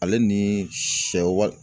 Ale ni sɛw wal